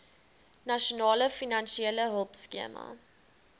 nasionale finansiële hulpskema